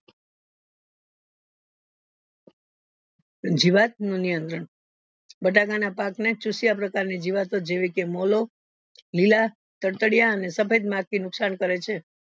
જીવત નો નિયંત્રણ બટાકા ના પાક ને ચૂસ્યા પ્રકારની જીવતો જેવી કે મોળો લીલા તાદ્તાડીયા અને સફેદ મરકી નુકશાન કરે છે